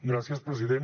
gràcies president